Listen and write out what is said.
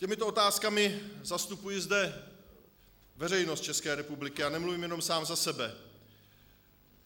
Těmito otázkami zastupuji zde veřejnost České republiky a nemluvím jenom sám za sebe.